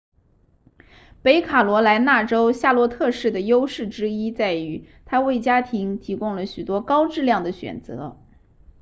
北卡罗来纳州夏洛特市的优势之一在于它为家庭提供了许多高质量的选择